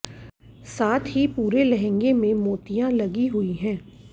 साथ ही पूरे लहंगे में मोतियां लगी हुई हैं